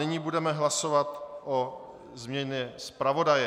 Nyní budeme hlasovat o změně zpravodaje.